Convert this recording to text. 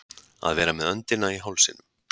Að vera með öndina í hálsinum